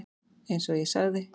Eins og ég sagði.